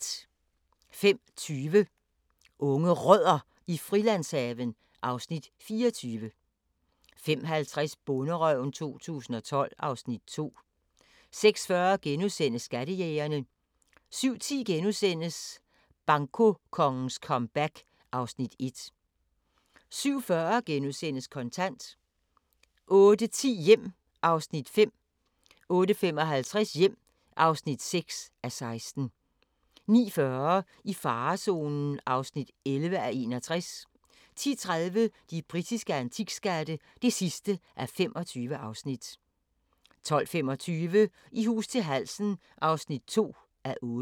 05:20: Unge Rødder i Frilandshaven (Afs. 24) 05:50: Bonderøven 2012 (Afs. 2) 06:40: Skattejægerne * 07:10: Bankokongens comeback (Afs. 1)* 07:40: Kontant * 08:10: Hjem (5:16) 08:55: Hjem (6:16) 09:40: I farezonen (11:61) 10:30: De britiske antikskatte (25:25) 12:25: I hus til halsen (2:8)